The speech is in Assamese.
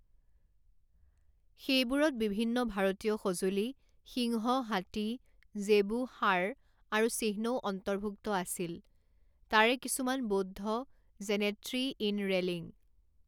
সেইবোৰত বিভিন্ন ভাৰতীয় সঁজুলি সিংহ হাতী জেবু ষাঁড় আৰু চিহ্নও অন্তৰ্ভুক্ত আছিল তাৰে কিছুমান বৌদ্ধ যেনে ট্ৰি ইন ৰেলিং।